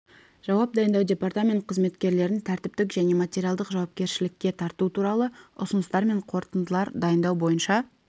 жауап дайындау департамент қызметкерлерін тәртіптік және материалдық жауапкершілікке тарту туралы ұсыныстар және қорытындылар дайындау бойынша